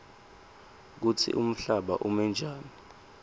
kutsi umhlaba umenjani